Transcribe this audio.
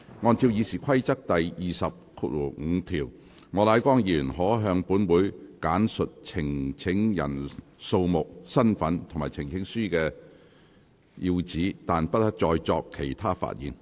按照《議事規則》第205條，莫乃光議員可向本會簡述呈請人數目、身份，以及呈請書的要旨，但不得再作其他發言。